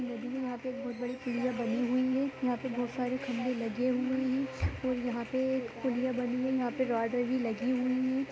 नदी में यहाँ पे बहोत बड़ी पुलिया बनी हुई है यहाँ पे बहोत सारे खम्भे लगे हुए है और यहाँ पे एक पुलिया बनी यहाँ पे रोड भी लगी हुई है।